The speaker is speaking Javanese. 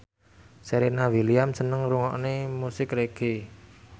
Serena Williams seneng ngrungokne musik reggae